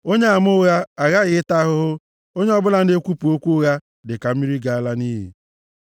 Onyeama ụgha aghaghị ịta ahụhụ, onye ọbụla na-ekwupụ okwu ụgha dịka mmiri ga-ala nʼiyi.